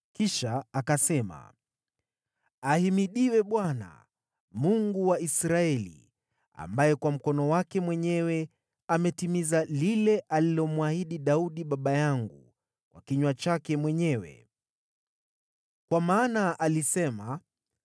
Kisha akasema: “Ahimidiwe Bwana , Mungu wa Israeli, ambaye kwa mikono yake mwenyewe ametimiza lile alilomwahidi Daudi baba yangu kwa kinywa chake mwenyewe. Kwa kuwa alisema,